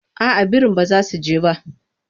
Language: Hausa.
Aa birin ba za su je ba.